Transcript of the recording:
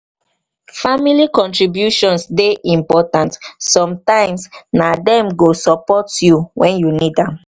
family contributions dey important; sometimes na dem go support you wen you need am.